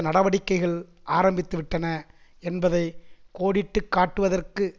நடவடிக்கைகள் ஆரம்பித்துவிட்டன என்பதை கோடிட்டு காட்டுவதற்கு